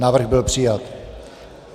Návrh byl přijat.